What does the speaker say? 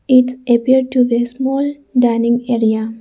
it appeared to be a small dining area.